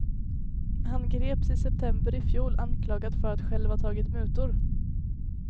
Han greps i september ifjol anklagad för att själv ha tagit mutor.